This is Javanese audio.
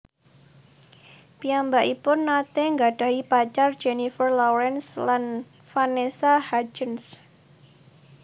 Piyambakipun nate gadhahi pacar Jennifer Lawrence lan Vanessa Hudgens